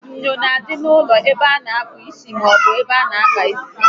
Enyo na-adị n'ụlọ ebe a na akpụ isi maọbụ n'ebe ana àkpà isi